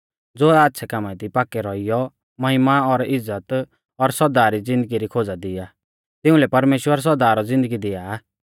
ज़ो आच़्छ़ै कामा दी पाक्कै रौइयौ महिमा और इज़्ज़त और सौदा री ज़िन्दगी री खोज़ा दी आ तिउंलै परमेश्‍वर सौदा रौ ज़िन्दगी दिआ